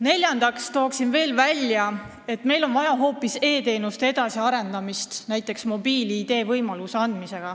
Neljandaks toon välja, et meil on vaja hoopis e-teenuste edasiarendamist, näiteks mobiil-ID võimaluste laiendamist.